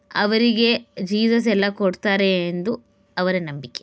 ಅವರಿಗೆ ಜೀಸಸ್ ಎಲ್ಲ ಕೊಡ್ತಾರೆ ಎಂದು ಅವರ ನಂಬಿಕೆ --